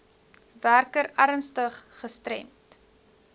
werker ernstig gestremd